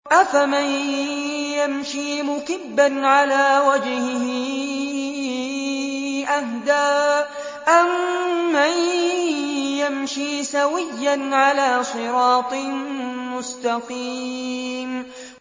أَفَمَن يَمْشِي مُكِبًّا عَلَىٰ وَجْهِهِ أَهْدَىٰ أَمَّن يَمْشِي سَوِيًّا عَلَىٰ صِرَاطٍ مُّسْتَقِيمٍ